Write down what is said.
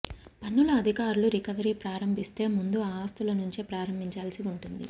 పన్నుల అధికారు లు రికవరీ ప్రారంభిస్తే ముందు ఈ ఆస్తులనుంచే ప్రారంభిం చాల్సి ఉంటుంది